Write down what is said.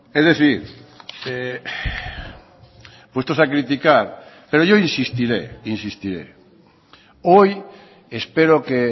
es decir puestos a criticar pero yo insistiré insistiré hoy espero que